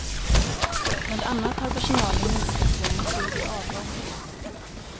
Bland annat har personalen minskats genom naturlig avgång.